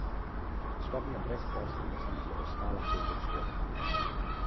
Petrol Olimpija je ubranila naslov, skupno je sedemnajstič postala državni prvak Slovenije.